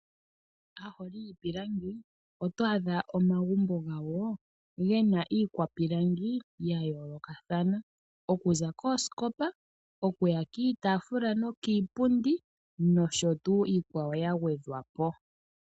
Aaholii yiipilangi, oto adha omagumbo gawo ge na ijkwapilangi ya yoolokathana, oku za koosikopa, oku ya kiiitaafula nokiipundi nosho tuu iikwawo ya gwedhwa po.